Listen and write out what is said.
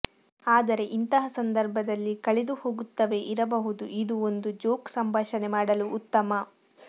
ಆದರೆ ಇಂತಹ ಸಂದರ್ಭದಲ್ಲಿ ಕಳೆದುಹೋಗುತ್ತವೆ ಇರಬಹುದು ಇದು ಒಂದು ಜೋಕ್ ಸಂಭಾಷಣೆ ಮಾಡಲು ಉತ್ತಮ